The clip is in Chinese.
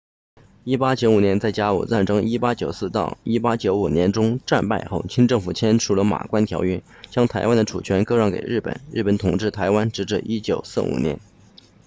1895年在甲午战争 1894-1895 年中战败后清政府签署了马关条约将台湾的主权割让给日本日本统治台湾直至1945年